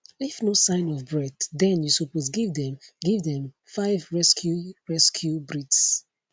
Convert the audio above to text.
if no sign of breath den you suppose give dem give dem 5 rescue rescue breaths